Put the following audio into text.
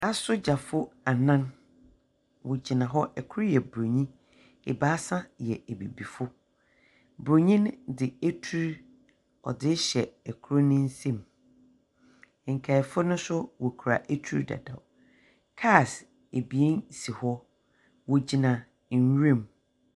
Asogyafo anan, wogyina hɔ. Kor yɛ Buronyi. Ebaasa yɛ abibifo. Buronyi no dze atur ɔdze rehyɛ kor ne nsam. Nkaefo nso wokura atur dada. Cars abien si hɔ. Wogyina nwuram.